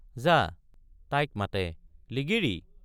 যা তাইক— মাতে লিগিৰি!